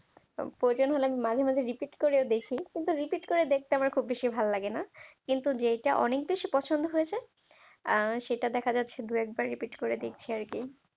প্রয়োজন হলে আমি মাঝে মাঝে repeat করে ও দেখি কিন্তু repeat repeat করে দেখতে আমার খুব বেশি ভালো লাগে না কিন্তু যেটা অনেক বেশি পছন্দ হয়ে যায় আহ সেটা দেখা যাচ্ছে দু একবার repeat করে দেখছি আর কি